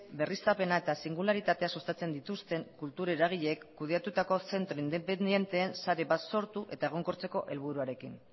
berriztapena eta singularitatea sustatzen dituzten kultur eragileek kudeatutako zentro independenteen sare bat sortu eta egonkortzeko helburuarekin